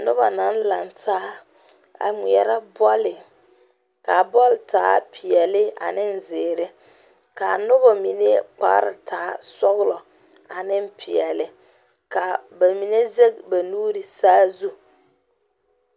Noba naŋ laŋe taa a ŋmeɛre bɔli, kaa bɔl taa pɛɛle ane zeɛre, kaa noba mine kpare taa sɔglɔ ane pɛɛle ka ba mine zege ba nuuri saazu.